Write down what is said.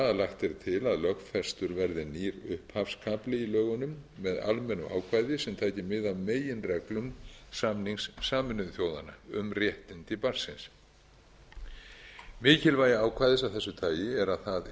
er til að lögfestur verði nýr upphafskafli í lögunum með almennu ákvæði sem tæki mið af meginreglum samnings sameinuðu þjóðanna um réttindi barnsins mikilvægi ákvæðis af þessu tagi er að það